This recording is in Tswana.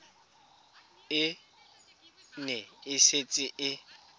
e ne e setse e